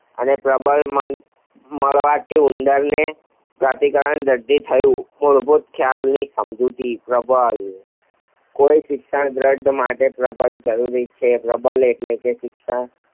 અને પ્રબલન મળવાથી ઉંદરની પ્રતિક્રિયાનું દઢીકરણ થયું. મૂળભૂત ખ્યાલોની સમજૂતી પ્રબલન કોઈપણ શિક્ષણના દઢીકરણ માટે પ્રબલન જરૂરી છે. પ્રબલન એટલે કે શિક્ષણ